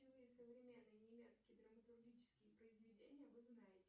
современные немецкие драматургические произведения вы знаете